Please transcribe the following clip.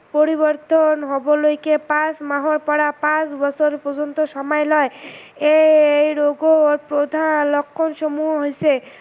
পৰিবৰ্তন হবলৈকে পাচ মাহৰ পৰা পাচ বছৰ পৰ্যন্ত সময় লয়। এই ৰোগৰ প্ৰধান লক্ষন সমূহ হৈছে